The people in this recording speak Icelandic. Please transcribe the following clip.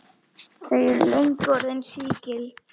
Þau eru löngu orðin sígild.